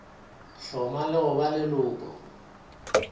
hloma le go ba leloko